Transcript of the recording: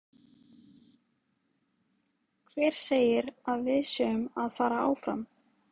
Hver segir að við séum að fara áfram?